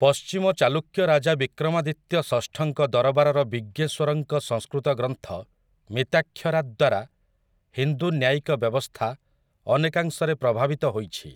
ପଶ୍ଚିମ ଚାଲୁକ୍ୟ ରାଜା ବିକ୍ରମାଦିତ୍ୟ ଷଷ୍ଠଙ୍କ ଦରବାରର ବିଜ୍ଞେଶ୍ୱରଙ୍କ ସଂସ୍କୃତ ଗ୍ରନ୍ଥ 'ମିତାକ୍ଷରା' ଦ୍ୱାରା ହିନ୍ଦୁ ନ୍ୟାୟିକ ବ୍ୟବସ୍ଥା ଅନେକାଂଶରେ ପ୍ରଭାବିତ ହୋଇଛି ।